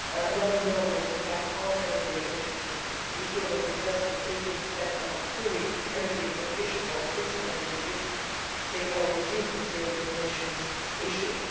running the numbers, in fact, on energy efficiency, to be sure that the investment is being spent on real energy efficiency or increasing energy efficiency or reducing CO 2 emissions issues?